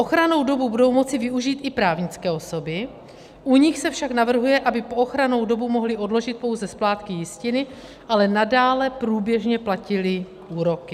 Ochrannou dobu budou moci využít i právnické osoby, u nich se však navrhuje, aby po ochrannou dobu mohly odložit pouze splátky jistiny, ale nadále průběžně platily úroky.